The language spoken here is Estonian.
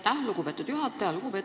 Aitäh, lugupeetud juhataja!